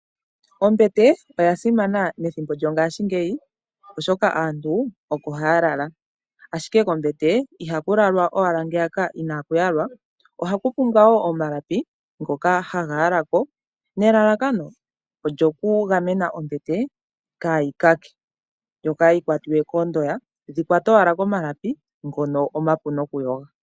Ombete oya simana methimbo lyongashingeyi, oshoka aantu oko haya lala. Ashike kombete ihaku lalwa owala ngeyaka inaaku yalwa, ohaku pumbwa wo omalapi ngoka haga yala ko, nelalakano lyokugamena ombete kaa yi kake yo kaa yi kwatiwe koondoya, shi kwate owala komalapi, ngono omapu nokuyoga.